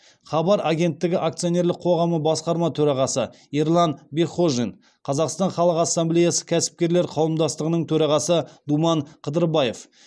хабар агенттігі акционерлік қоғамы басқарма төрағасы ерлан бекхожин қазақстан халқы ассамблеясы кәсіпкерлер қауымдастығының төрағасы думан қыдырбаев